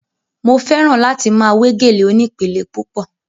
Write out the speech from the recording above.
Mo fẹ́ràn láti máa we gèlè onípele púpọ̀